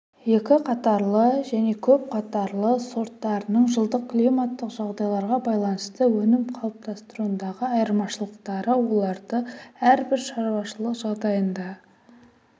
екі қатарлы және көп қатарлы сорттарының жылдық климаттық жағдайларға байланысты өнім қалыптастыруындағы айырмашылықтары оларды әрбір шаруашылық жағдайында